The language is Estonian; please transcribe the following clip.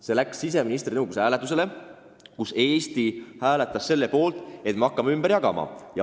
See läks hääletusele justiits- ja siseküsimuste nõukogus, kus Eesti hääletas selle poolt, et me hakkame pagulasi ümber jagama.